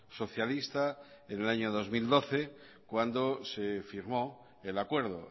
socialista en el año dos mil doce cuando se firmó el acuerdo